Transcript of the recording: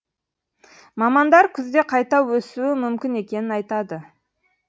мамандар күзде қайта өсуі мүмкін екенін айтады